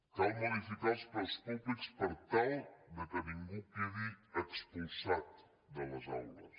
cal modificar els preus públics per tal que ningú quedi expulsat de les aules